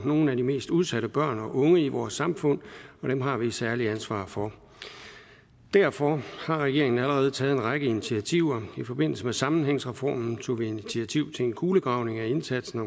nogle af de mest udsatte børn og unge i vores samfund og dem har vi et særligt ansvar for derfor har regeringen allerede taget en række initiativer i forbindelse med sammenhængsreformen tog vi initiativ til en kulegravning af indsatsen